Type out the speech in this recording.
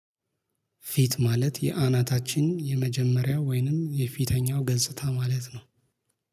ፊት ማለት የአናታችን የመጀመሪያ ወይንም የፊተኛው ገጽታ ማለት ነው።